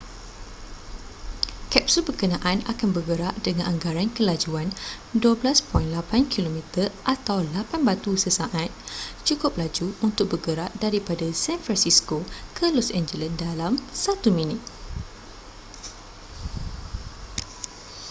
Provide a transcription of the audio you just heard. kapsul berkenaan akan bergerak dengan anggaran kelajuan12.8 km atau 8 batu sesaat cukup laju untuk bergerak daripada san francisco ke los angeles dalam satu minit